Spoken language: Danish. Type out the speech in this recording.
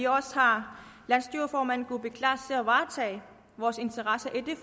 også har landsstyreformand kuupik kleist til at varetage vores interesser i det